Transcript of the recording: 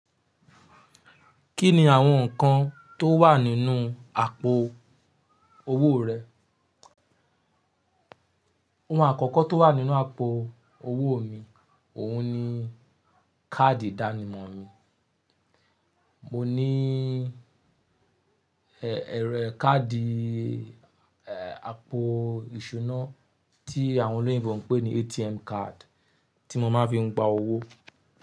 Kíni àwọn nǹkan tó wà nínú àpò owó rẹ? Ohun àkọ́kọ́ tó wà nínú àpò owó mi, òun ni káàdì ìdánimọ̀ mi. Mo ní, ẹ́, ẹ̀rọ káàdì, ẹ́, àpò ìṣúná tí àwọn olóyè wọn ń pè ní ATM card tí mo máa fi ń gba owó.